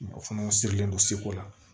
Mɔgɔ fana sirilen don seko la